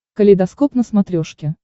калейдоскоп на смотрешке